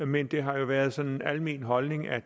men det har jo været sådan en almen holdning at